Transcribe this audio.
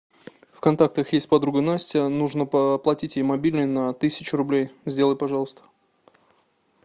в контактах есть подруга настя нужно оплатить ей мобильный на тысячу рублей сделай пожалуйста